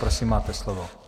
Prosím, máte slovo.